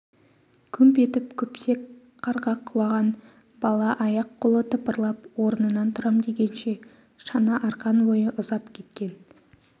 күмп етіп күпсек қарға құлаған бала аяқ-қолы тыпырлап орнынан тұрам дегенше шана арқан бойы ұзап кеткен